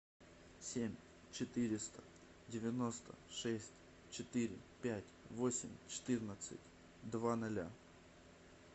семь четыреста девяносто шесть четыре пять восемь четырнадцать два ноля